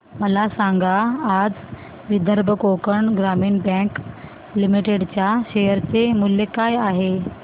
मला सांगा आज विदर्भ कोकण ग्रामीण बँक लिमिटेड च्या शेअर चे मूल्य काय आहे